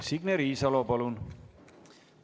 Signe Riisalo, palun!